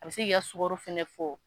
A bɛ se k'i ka sukaro fɛnɛ fɔ.